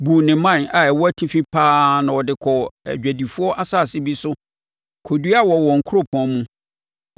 buu ne mman a ɛwɔ atifi paa na ɔde kɔɔ adwadifoɔ asase bi so kɔdua wɔ wɔn kuropɔn mu.